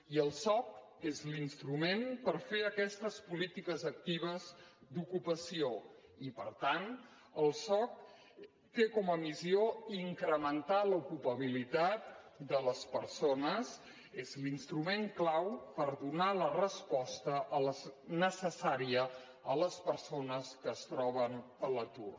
i el soc és l’instrument per fer aquestes polítiques actives d’ocupació i per tant el soc té com a missió incrementar l’ocupabilitat de les persones és l’instrument clau per donar la resposta necessària a les persones que es troben a l’atur